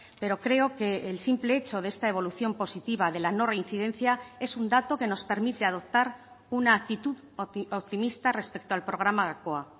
pero creo que el simple hecho de esta evolución positiva de la no reincidencia es un dato que nos permite adoptar una actitud optimista respecto al programa gakoa